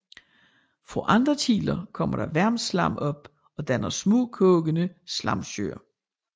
Fra andre kilder kommer der varmt slam op og danner små kogende slamsøer